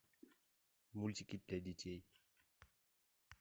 мультики для детей